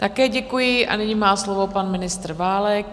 Také děkuji a nyní má slovo pan ministr Válek.